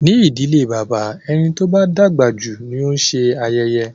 Ní ìdílé bàbá, ẹni tó bá dàgbà jù ni ó ń se ayẹyẹ.